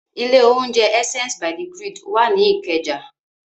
Ilé-oúnjẹ Essence by the Grid wà ní Ìkẹjà.